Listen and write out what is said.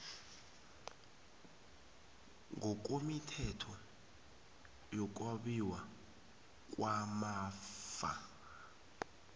ngokwemithetho yokwabiwa kwamafa